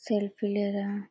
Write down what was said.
Selfie ले रहे हैं।